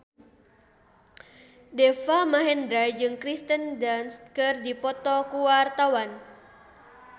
Deva Mahendra jeung Kirsten Dunst keur dipoto ku wartawan